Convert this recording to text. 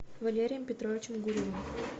валерием петровичем гурьевым